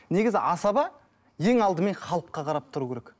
негізі асаба ең алдымен халыққа қарап тұру керек